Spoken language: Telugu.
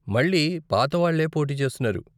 మళ్ళీ పాతవాళ్ళే పోటీ చేస్తున్నారు.